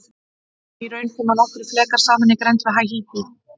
Í raun koma nokkrir flekar saman í grennd við Haítí.